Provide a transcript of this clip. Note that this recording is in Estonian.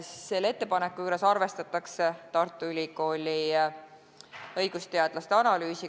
Selle ettepaneku juures arvestatakse Tartu Ülikooli õigusteadlaste analüüsi.